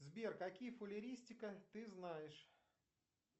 сбер какие фалеристика ты знаешь